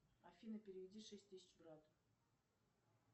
афина переведи шесть тысяч брату